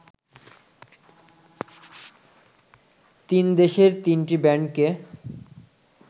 তিন দেশের তিনটি ব্যান্ডকে